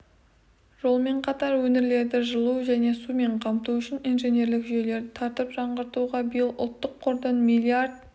жолмен қатар өңірлерді жылу және сумен қамту үшін инженерлік жүйелерді тартып жаңғыртуға биыл ұлттық қордан миллиард